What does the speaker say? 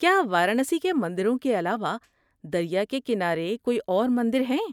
کیا وارانسی کے مندروں کے علاوہ دریا کے کنارے کوئی اور مندر ہیں؟